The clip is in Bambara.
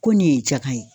Ko nin ye jakan ye